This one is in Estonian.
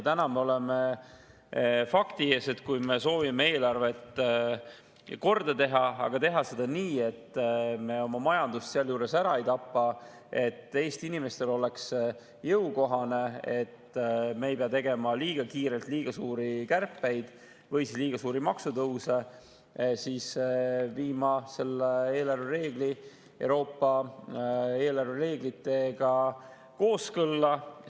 Täna me oleme fakti ees, et kui me soovime eelarvet korda teha, aga teha seda nii, et me oma majandust sealjuures ära ei tapa, et Eesti inimestele oleks see jõukohane, et me ei peaks tegema liiga kiirelt liiga suuri kärpeid või liiga suuri maksutõuse, siis peame viima eelarvereeglid Euroopa eelarvereeglitega kooskõlla.